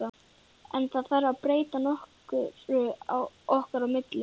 En þarf það að breyta nokkru okkar á milli?